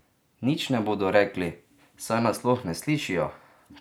Nič ne bodo rekli, saj nas sploh ne slišijo!